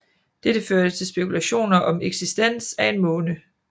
Dette førte til spekulationer om eksistens af en måne